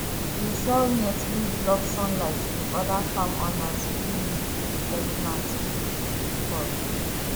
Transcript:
we dey sell net wey block sunlight to oda farm owners wey need to protect plants wey heat dey spoil